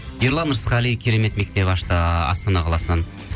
ерлан ырысқали керемет мектеп ашты астана қаласынан